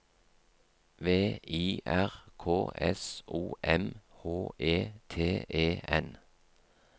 V I R K S O M H E T E N